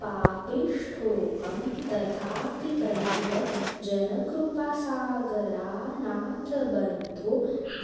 पापिष्ठोऽहं तथापि प्रणतजनकृपासागरानाथबन्धो